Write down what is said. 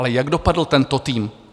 Ale jak dopadl tento tým?